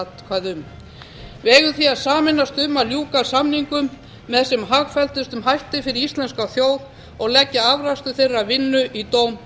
atkvæði um við eigum því að sameinast um að ljúka samningum með sem hagfelldustum hætti fyrir íslenska þjóð og leggja afrakstur þeirrar vinnu í dóm